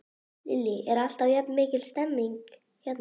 Lillý: Er alltaf jafn mikil stemning hérna?